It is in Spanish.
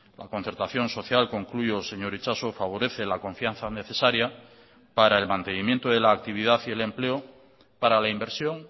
la concertación social concluyo señor itxaso favorece la confianza necesaria para el mantenimiento de la actividad y el empleo para la inversión